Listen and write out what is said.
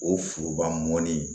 O foroba mɔni